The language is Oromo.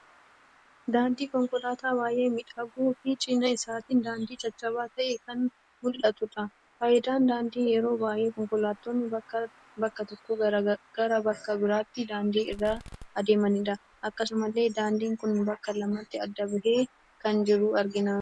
Daandii konkoolaata baay'ee miidhaguu fi cina isaatiin daandiin caccaba ta'e kan muldhatudha. Faayidaan daandii yeroo baay'ee konkoolaattonni bakka tokko, gara bakka biratti daandii irra adeemanidha. Akkasumallee daandiin kun bakka lamatti addaan ba'ee kan jiru argina.